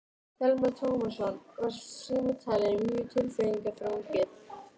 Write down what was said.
Telma Tómasson: Var símtalið mjög tilfinningaþrungið?